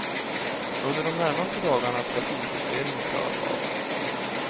Under de närmaste dagarna ska finjusteringen klaras av.